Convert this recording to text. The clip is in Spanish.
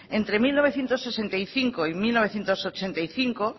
entre mil novecientos sesenta y cinco y mil novecientos ochenta y cinco